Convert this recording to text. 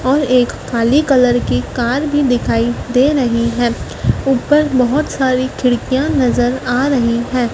और एक काली कलर की कार भी दिखाई दे रही है उपर बहोत सारी खिड़कियां नजर आ रही है।